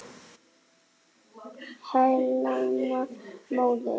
Helena móðir